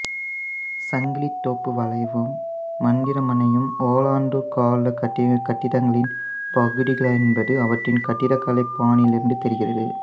சங்கிலித்தோப்பு வளைவும் மந்திரிமனையும் ஒல்லாந்தர் காலக் கட்டிடங்களின் பகுதிகளென்பது அவற்றின் கட்டடக்கலைப் பாணியிலிருந்து தெரிகிறது